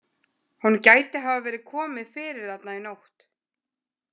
Honum gæti hafa verið komið fyrir þarna í nótt.